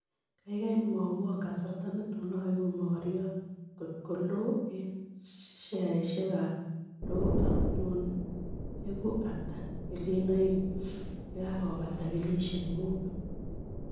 Kaigai mwawon kasarta netun aegu mogoriot kot akool eng' sheasiekab dow ak tun egu ata kelchinoikyuk ye kakobata kenyisyek mutu